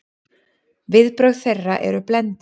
Viðbrögð þeirra eru blendin.